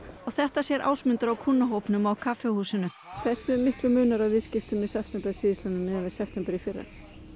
og þetta sér Ásmundur á á kaffihúsinu hversu miklu munar á viðskiptum í september síðastliðnum miðað við september í fyrra